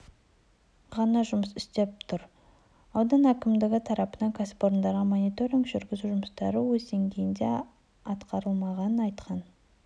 ғана жұмыс істеп тұр аудан әкімдігі тарапынан кәсіпорындарға мониторинг жүргізу жұмыстары өз деңгейінде атқарылмағанын айтқан